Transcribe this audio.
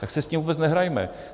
Tak si s tím vůbec nehrajme.